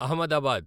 Ahmedabad